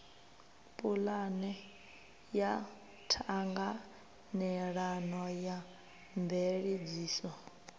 pulane ya ṱhanganelano ya mveledziso